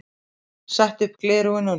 Setti upp gleraugun á ný.